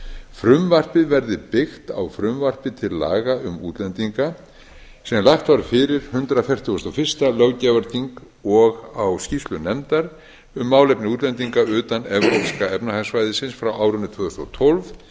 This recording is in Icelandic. frumvarpið verði byggt á frumvarpi til laga um útlendinga sem lagt var fyrir hundrað fertugasta og fyrsta löggjafarþing og á skýrslu nefndar um málefni útlendinga utan evrópska efnahagssvæðisins frá árinu tvö þúsund og tólf